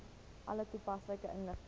alle toepaslike inligting